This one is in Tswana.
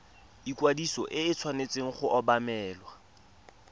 ikwadiso e tshwanetse go obamelwa